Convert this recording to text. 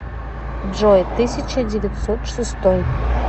джой тысяча девятьсот шестой